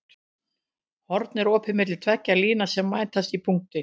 Horn er opið milli tveggja lína sem mætast í punkti.